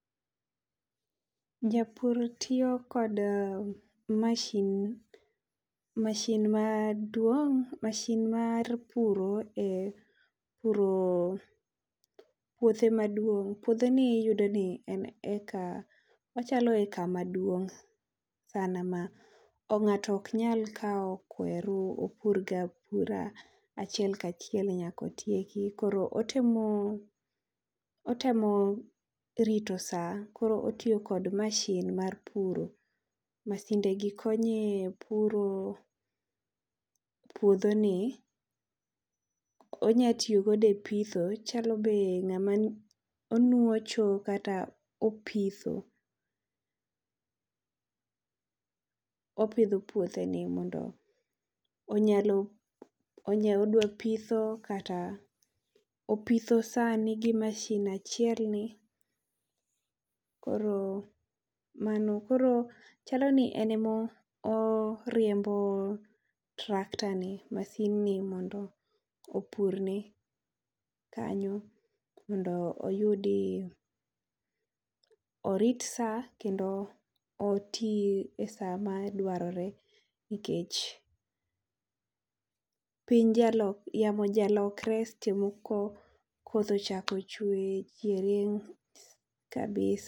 Japur tiyo kod mashin, mashin maduong mashin mar puro puro puothe maduong. Puodho ni iyudo ni en heka ochalo heka maduong sana ma ng'ato ok nya kawo kweru opur go apura achiel kaachiel nyaka otieki koro otemo otemo rito saa koro otiyo kod mashin mar puro. Masinde gi konye puro puodhi ni, onya tiyo go ne pitho chalo be ng'ama omocho kata opitho. Opidho puothe ni mondo onyalo odwa pitho kata, opitho saa ni gi masin achiel ni .Koro mano, koro chalo ni en ema oriembo trakta ni masin ni mondo opur ne kanyo mondo oyudi, orit saa kendo oti e saa ma dwarore nikech piny yamo ja lokre saa moro koth ochako chwe, chieng rieny kabisa.